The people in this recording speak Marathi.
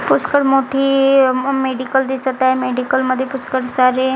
पुष्कळ मोठी मेडिकल दिसत आहे मेडिकल मध्ये पुष्कळ सारे--